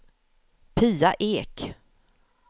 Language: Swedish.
Pia Ek